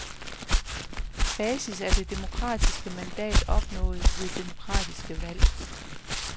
Basis er det demokratiske mandat opnået ved demokratiske valg.